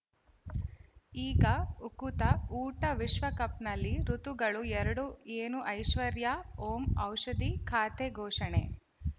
ಈಗ ಉಕುತ ಊಟ ವಿಶ್ವಕಪ್‌ನಲ್ಲಿ ಋತುಗಳು ಎರಡು ಏನು ಐಶ್ವರ್ಯಾ ಓಂ ಔಷಧಿ ಖಾತೆ ಘೋಷಣೆ